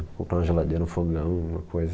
Comprava uma geladeira, um fogão, uma coisa.